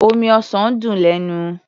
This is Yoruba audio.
Omi ọsàn dùn lẹ́nu.